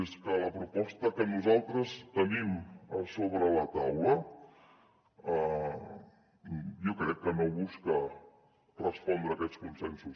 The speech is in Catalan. és que la proposta que nosaltres tenim sobre la taula jo crec que no busca respondre a aquests consensos